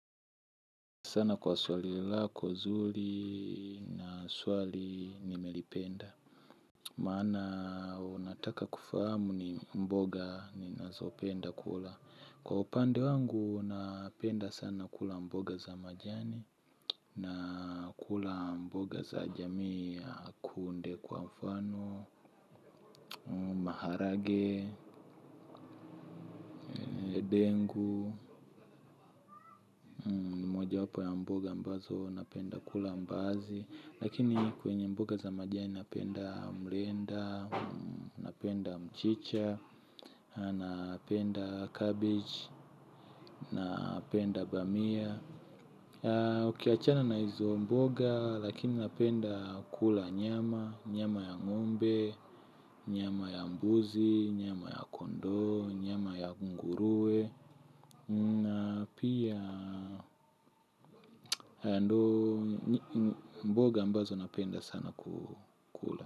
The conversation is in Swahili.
Sana kwa swali lako nzuri, na swali nimelipenda. Maana, unataka kufahamu ni mboga ninazopenda kula. Kwa upande wangu, napenda sana kula mboga za majani, nakula mboga za jamii ya kunde kwa mfano, maharage, ndengu, mojawapo ya mboga ambazo napenda kula mbaazi. Lakini kwenye mboga za majani napenda mrenda, napenda mchicha, napenda cabbage, napenda bamia. Ukiachana na hizo mboga lakini napenda kula nyama, nyama ya ng'ombe, nyama ya mbuzi, nyama ya kondoo, nyama ya nguruwe, na pia mboga ambazo napenda sana kukula.